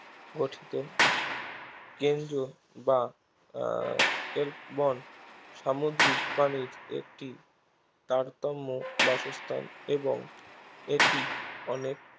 গঠিত কেন্দ্র বা আহ ক্লেববন সামুদ্রিক প্রাণীর একটি তারতম্য বাসস্থান এবং এটি অনেক